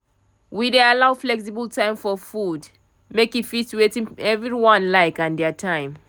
we dey allow flexible time for food make e fit wetin everyone like and dia time